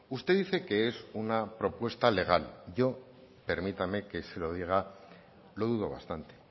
usted dice que es una propuesta legal yo permítame que se lo diga lo dudo bastante